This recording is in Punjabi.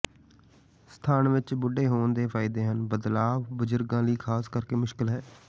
ਸਥਾਨ ਵਿਚ ਬੁੱਢੇ ਹੋਣ ਦੇ ਫ਼ਾਇਦੇ ਹਨ ਬਦਲਾਵ ਬਜ਼ੁਰਗਾਂ ਲਈ ਖਾਸ ਕਰਕੇ ਮੁਸ਼ਕਲ ਹੈ